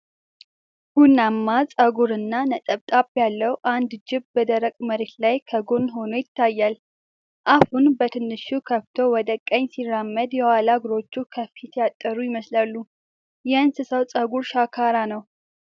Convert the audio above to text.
ቡናማ ፀጉርና ነጠብጣብ ያለው አንድ ጅብ በደረቅ መሬት ላይ ከጎን ሆኖ ይታያል። አፉን በትንሹ ከፍቶ ወደ ቀኝ ሲራመድ፤ የኋላ እግሮቹ ከፊት ያጠሩ ይመስላሉ። የእንስሳው ፀጉር ሻካራ ነው።